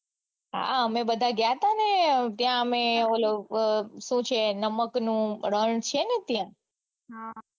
હા અમે બધાય ગયા તા ને ત્યાં અમે ઓલું સુ છે નમક નું રણ છે ને ત્યાં હા